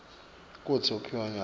kutsi sebakuphi nyalo